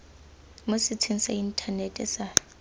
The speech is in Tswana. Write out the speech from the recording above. mo setsheng sa inthanete sa